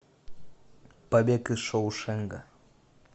побег из шоушенка